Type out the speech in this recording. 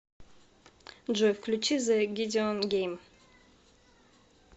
джой включи зэ гидеон гейм